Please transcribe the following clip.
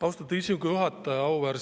Austatud istungi juhataja!